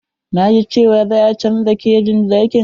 Na ji cewa za a canja kejon zakin.